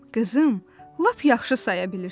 Qızım, lap yaxşı saya bilirsən.